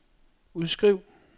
udskriv